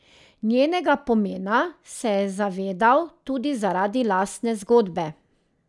Njenega pomena se je zavedal tudi zaradi lastne zgodbe.